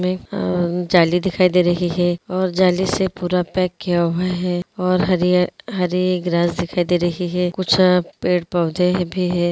मैं अ झाली दिखाई दे रही हैं और झाली से पूरा पैक किया हुआ हैं और हरे-हरे ग्रास दिखाई दे रही हैं कुछ पेड़ पौधे भी हैं।